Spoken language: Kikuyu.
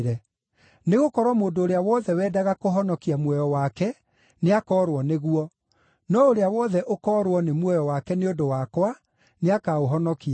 Nĩgũkorwo mũndũ ũrĩa wothe wendaga kũhonokia muoyo wake nĩakoorwo nĩguo; no ũrĩa wothe ũkoorwo nĩ muoyo wake nĩ ũndũ wakwa nĩakaũhonokia.